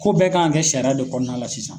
Ko bɛɛ kan ka kɛ sariya de kɔnɔna la sisan.